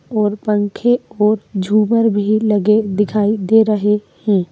और पंखे और झूमर भी लगे दिखाई दे रहे हैं।